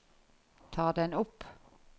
ta den opp